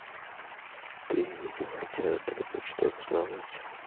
ты меня хотела только что взломать